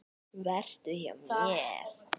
Vertu hjá mér.